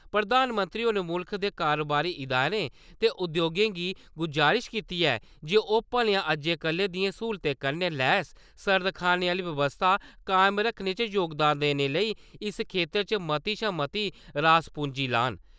प्रधानमंत्री होरें मुल्ख दे कारोबारी इदारें ते उद्योगें गी गजारश कीती ऐ जे ओह् भलेआं अज्जै-कल्लै दियें स्हूलतें कन्नै लैस सर्द खानें आह्‌ली बवस्था कायम करने च जोगदान देने लेई इस खेत्तर च मती शा मती रास-पूंजी लान ।